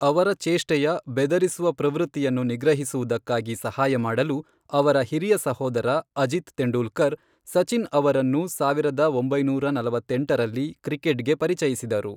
ಅವರ ಚೇಷ್ಟೆಯ, ಬೆದರಿಸುವ ಪ್ರವೃತ್ತಿಯನ್ನು ನಿಗ್ರಹಿಸುವುದಕ್ಕಾಗಿ ಸಹಾಯ ಮಾಡಲು, ಅವರ ಹಿರಿಯ ಸಹೋದರ, ಅಜಿತ್ ತೆಂಡೂಲ್ಕರ್, ಸಚಿನ್ ಅವರನ್ನು ಸಾವಿರದ ಒಂಬೈನೂರ ನಲವತ್ತೆಂಟರಲ್ಲಿ ಕ್ರಿಕೆಟ್ಗೆ ಪರಿಚಯಿಸಿದರು.